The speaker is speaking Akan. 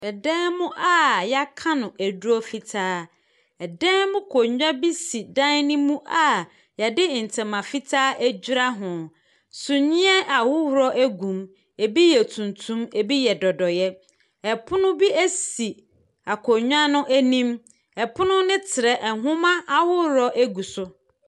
Ɛdan mu a yɛaka no aduro fitaa. Ɛdan mu nkonwa si ɛdan no mu a yɛde ntoma fitaa adwira ho. Suneɛ ahorow egu mu. Ebi yɛ tuntum. Ebi yɛ dodoeɛ. Ɛpono bi esi akonwa no anim. Ɛpono no trɛ. Nhoma ahorow egu so.